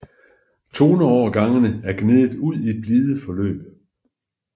Toneovergangene er gnedet ud i blide forløb